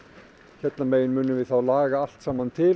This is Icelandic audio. hérna megin munum við laga allt saman til